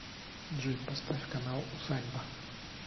джой поставь канал усадьба